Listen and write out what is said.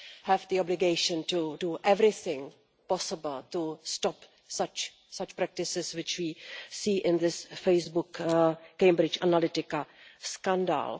We have the obligation to do everything possible to stop such practices which we see in this Facebook Cambridge Analytica scandal.